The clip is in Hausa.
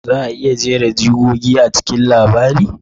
Za a iya jera jigogi a cikin labarin?